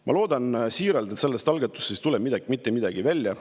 Ma loodan siiralt, et sellest algatusest ei tule mitte midagi välja.